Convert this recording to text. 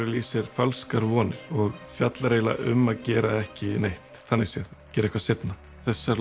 í sér falskar vonir og fjallar eiginlega um að gera ekki neitt þannig séð gera eitthvað seinna þessar